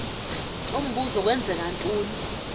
umbuzo kwenzeka ntoni